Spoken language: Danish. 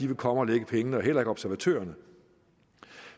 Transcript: vil komme og lægge pengene og heller ikke observatørerne